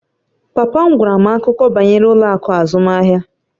Papa m gwara m akụkọ banyere ụlọ akụ azụmahịa